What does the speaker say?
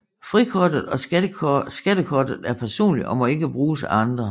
Frikortet og skattekortet er personligt og må ikke bruges af andre